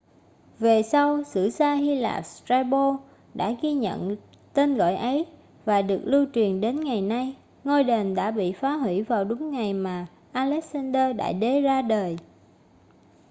về sau sử gia hy lạp strabo đã ghi nhận tên gọi ấy và được lưu truyền đến ngày nay ngôi đền đã bị phá hủy vào đúng ngày mà alexander đại đế ra đời